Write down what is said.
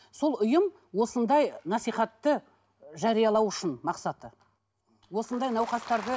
сол ұйым осындай насихатты жариялау үшін мақсаты осындай науқастарды